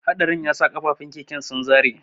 Haɗarin yasa kafafun keken sun zare.